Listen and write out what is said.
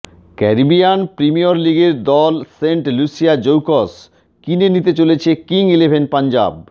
Caribbean Premier লিগের দল Saint Lucia Zouks কিনে নিতে চলেছে কিং ইলেভেন পঞ্জাব